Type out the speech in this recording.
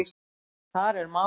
Þar er málið.